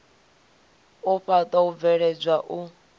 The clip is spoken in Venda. u faṱwa u bveledzwa u